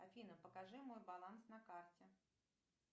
афина покажи мой баланс на карте